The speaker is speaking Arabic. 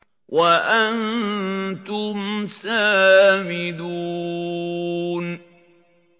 وَأَنتُمْ سَامِدُونَ